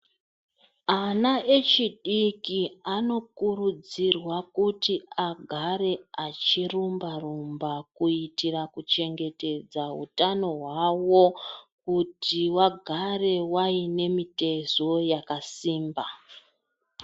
Ana echidiki anokuridzirwa kuti agare achirumba rumba kuitira kuchengetedza kutano hwavo kuti wagare waine mitezo yakasimba.